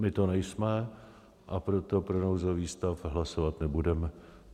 My to nejsme, a proto pro nouzový stav hlasovat nebudeme.